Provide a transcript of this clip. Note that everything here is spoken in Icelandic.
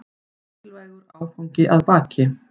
Mikilvægur áfangi að baki